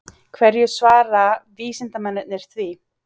Hverju svara vísindamennirnir því?